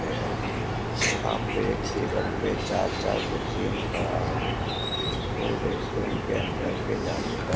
यहां पे टेबल पे चार-चार कुर्सियां लगा हुआ है और रेस्टोरेंट के अंदर जाने का --